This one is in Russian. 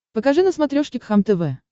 покажи на смотрешке кхлм тв